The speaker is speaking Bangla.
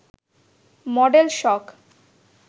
মডেল শখ